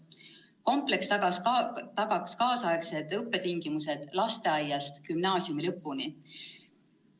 Kompleks tagaks tänapäevased õppetingimused lasteaiast kuni gümnaasiumi lõpuni.